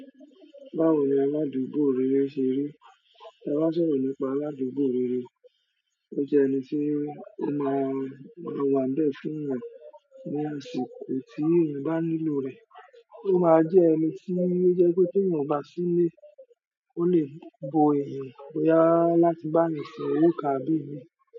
Báwo ni aládùúgbò rere ṣe rí? Tí a bá sọ̀rọ̀ nípa aládùúgbò rere, ó jẹ́ ẹni tí ó máa o maa wà ń bẹ̀ fúnyan ní àsìkò tí èèyàn bá nílò rẹ̀, ó máa jẹ́ ẹni tí ó jẹ́ pé tí èèyàn ò bá sí nilé, ó lè bo èèyàn bóyá láti bá yan ṣe òwo kan àbí ìmí.